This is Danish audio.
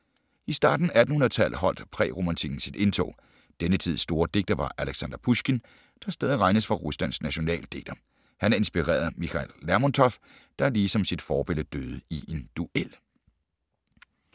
I starten af 1800-tallet holdt præromantikken sit indtog. Denne tids store digter var Aleksandr Pusjkin, der stadig regnes for Ruslands nationaldigter. Han inspirerede Michail Lermontov, der ligesom sit forbillede døde i en duel.